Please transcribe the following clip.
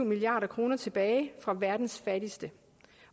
milliard kroner tilbage fra verdens fattigste